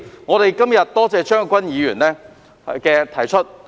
我今天感謝張國鈞議員提出議案。